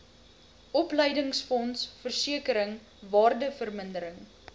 opleidingsfonds versekering waardevermindering